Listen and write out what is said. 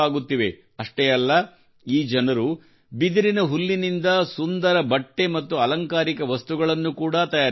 ಅಷ್ಟೇ ಅಲ್ಲ ಈ ಜನರು ಬಿದಿರಿನ ಹುಲ್ಲಿನಿಂದ ಸುಂದರ ಬಟ್ಟೆ ಮತ್ತು ಅಲಂಕಾರಿಕ ವಸ್ತುಗಳನ್ನು ಕೂಡಾ ತಯಾರಿಸುತ್ತಾರೆ